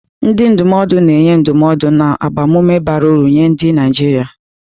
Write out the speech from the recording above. Ndị ndụmọdụ na-enye ndụmọdụ na agbamume bara uru nye ndị Naijiria.